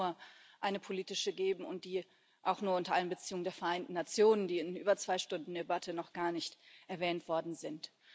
Es kann nur eine politische geben, und die auch nur unter Einbeziehung der Vereinten Nationen, die in über zwei Stunden Debatte noch gar nicht erwähnt worden sind.